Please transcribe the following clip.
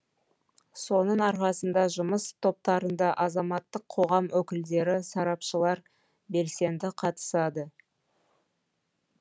соның арқасында жұмыс топтарында азаматтық қоғам өкілдері сарапшылар белсенді қатысады